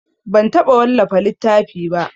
Ban taɓa wallafa littafi ba.